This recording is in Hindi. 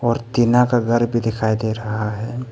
टीना का घर भी दिखाई दे रहा है।